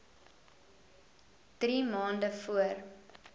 drie maande voor